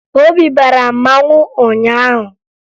Obi bara mmanwụ ụnyaahụ